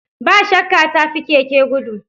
Ba shakka mota ta fi keke gudu